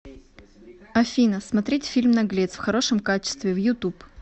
афина смотреть фильм наглец в хорошем качестве в ютуб